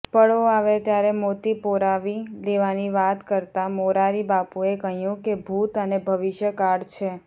પળો આવે ત્યારે મોતી પરોવી લેવાની વાત કરતા મોરારીબાપુએ કહ્યું કે ભૂત અને ભવિષ્યકાળ છે